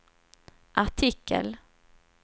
artikel